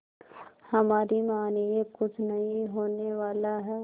हमारी मानिए कुछ नहीं होने वाला है